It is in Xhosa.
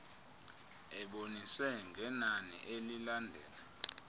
eboniswe ngenani elilandela